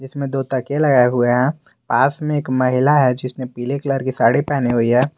में दो तकिए लगाए हुए हैं पास में एक महिला है जिसने पीले कलर की साड़ी पहनी हुई है।